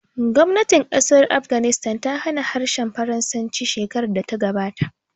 Gwamnatin ƙasar Afghanistan ta hana harshen Faransanci shekarar da ta gabata